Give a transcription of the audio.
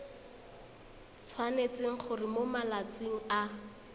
tshwanetse gore mo malatsing a